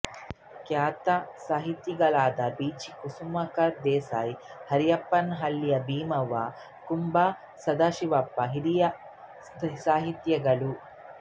ಖ್ಯಾತ ಸಾಹಿತಿಗಳಾದ ಬೀಚಿ ಕುಸುಮಾಕರ ದೇಸಾಯಿ ಹರಪನಹಳ್ಳಿ ಭೀಮವ್ವ ಕುಂ ಬಾ ಸದಾಶಿವಪ್ಪ ಹಿರಿಯ ಸಾಹಿತಿಗಳು